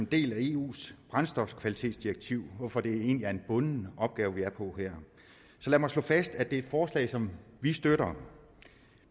del af eus brændstofkvalitetsdirektiv hvorfor det egentlig er en bunden opgave vi er på her så lad mig slå fast at det er et forslag som vi støtter